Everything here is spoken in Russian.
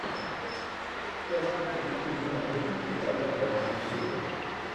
часть три сезона восемь сериал летающие звери